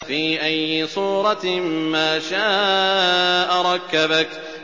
فِي أَيِّ صُورَةٍ مَّا شَاءَ رَكَّبَكَ